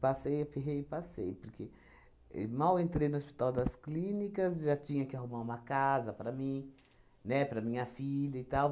Passei aperreio? Passei, porque e mal entrei no Hospital das Clínicas, já tinha que arrumar uma casa para mim, né, para a minha filha e tal.